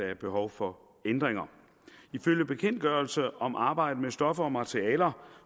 er behov for ændringer ifølge bekendtgørelse om arbejde med stoffer og materialer